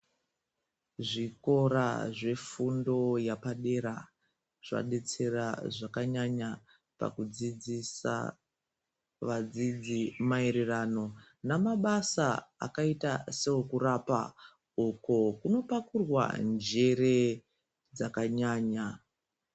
Zvikora zvefundo yepadera zvadetsera zvakanyanya pakudzidzisa vazhinji maererano namabasa akaita seokurapa uku kunopakurwa njere dzakanyanya.